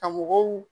Ka mɔgɔw